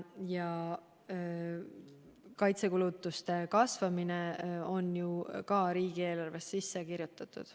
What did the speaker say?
Ja kaitsekulutuste kasvamine on ju riigieelarvesse sisse kirjutatud.